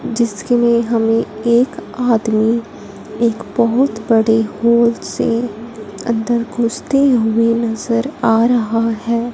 जिसके लिए हमे एक आदमी एक बहोत बड़े होल से अंदर घुसते हुए नजर आ रहा है।